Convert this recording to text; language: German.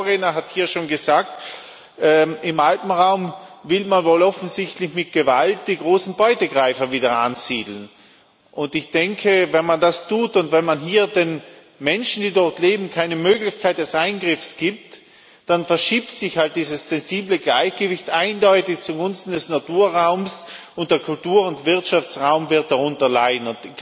Mein Vorredner hat ja schon gesagt Im Alpenraum will man wohl offensichtlich mit Gewalt die großen Beutegreifer wieder ansiedeln. Ich denke, wenn man das tut und wenn man hier den Menschen, die dort leben, keine Möglichkeit des Eingriffs gibt, dann verschiebt sich halt dieses sensible Gleichgewicht eindeutig zugunsten des Naturraums, und der Kultur und Wirtschaftsraum wird darunter leiden.